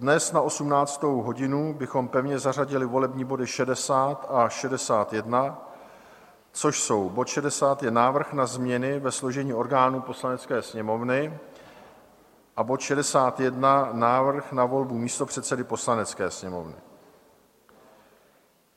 Dnes na 18. hodinu bychom pevně zařadili volební body 60 a 61, což jsou: bod 60 je návrh na změny ve složení orgánů Poslanecké sněmovny a bod 61 návrh na volbu místopředsedy Poslanecké sněmovny.